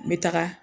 N bɛ taga